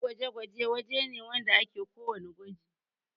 wajan gwaje-gwaje waje ne wanda ake ko wanna gwaji